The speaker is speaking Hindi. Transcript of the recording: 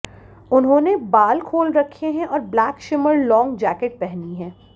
उन्होंने बाल खोल रखे हैं और ब्लैक शिमर लॉन्ग जैकेट पहनी है